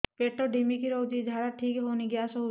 ପେଟ ଢିମିକି ରହୁଛି ଝାଡା ଠିକ୍ ହଉନି ଗ୍ୟାସ ହଉଚି